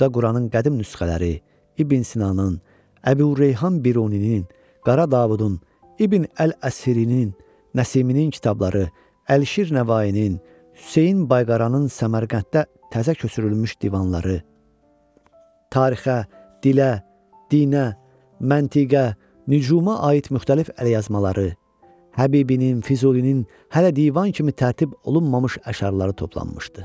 Burda Quranın qədim nüsxələri, İbn Sinanın, Əbu Reyhan Biruninin, Qara Davudun, İbn Əl-Əsirinin, Nəsiminin kitabları, Əlişir Nəvainin, Hüseyn Bayqaranın Səmərqənddə təzə köçürülmüş divanları, tarixə, dilə, dinə, məntiqə, nücuma aid müxtəlif əlyazmaları, Həbibinin, Füzulinin hələ divan kimi tərtib olunmamış əşarları toplanmışdı.